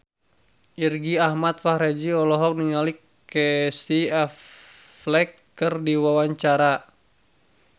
Irgi Ahmad Fahrezi olohok ningali Casey Affleck keur diwawancara